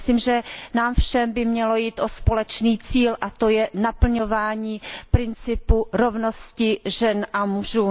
Myslím, že nám všem by mělo jít o společný cíl, a to je naplňování principu rovnosti žen a mužů.